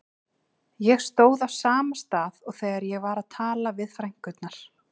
Ég stóð á sama stað og þegar ég var að tala við frænkurnar.